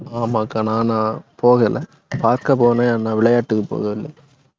ஆமாக்கா, நானா போகல பாக்கப் போனேன் ஆனா விளையாட்டுக்குப் போகவில்லை.